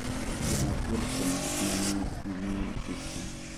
gin acheil kuom gikmanie immune system